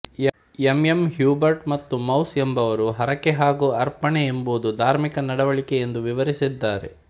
M M Hubert ಮತ್ತು Mauss ಎಂಬವರು ಹರಕೆ ಹಾಗೂ ಅರ್ಪಣೆ ಎಂಬುದು ಧಾರ್ಮಿಕ ನಡವಳಿಕೆ ಎಂದು ವಿವರಿಸಿದ್ದಾರೆ